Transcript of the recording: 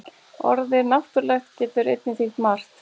Orðið náttúrulegt getur einnig þýtt margt.